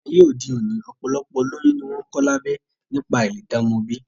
Ni ayé òde òní, ọ̀pọ̀lọpọ̀ olóyún ni wọ́n ń kọ lábẹ́ nípa áìlè dá ọmọ bí